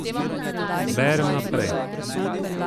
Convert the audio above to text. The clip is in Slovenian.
Berem naprej.